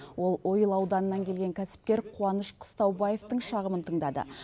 ол ойыл ауданынан келген кәсіпкер қуаныш қыстаубаевтың шағымын тыңдады